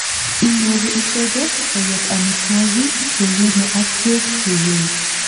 inyoru icheget koyob amitwogik cheiyome ak beek cheiyee